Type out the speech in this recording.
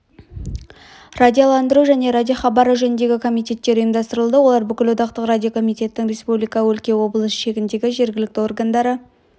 радиоландыру және радиохабары жөніндегі комитеттер ұйымдастырылды олар бүкілодақтық радиокомитеттің республика өлке облыс шегіндегі жергілікті органдары